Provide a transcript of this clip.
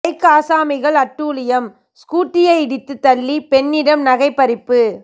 bike ஆசாமிகள் அட்டூழியம் ஸ்கூட்டியை இடித்து தள்ளி பெண்ணிடம் நகை பறிப்பு